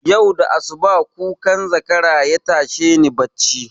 Yau da asuba kukan zakara yatashe ni bacci